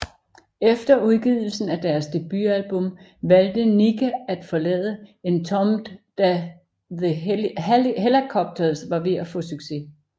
Efter udgivelsen af deres debutalbum valgte Nicke at forlade Entombed da The Hellacopters var ved at få succes